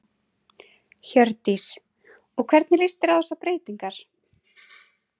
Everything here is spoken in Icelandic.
Hjördís: Og hvernig líst þér á þessar breytingar?